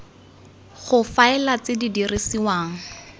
go faela tse di dirisiwang